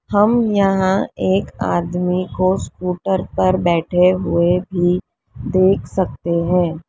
हम यहां एक आदमी को स्कूटर पर बैठे हुए भी देख सकते हैं।